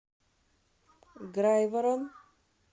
грайворон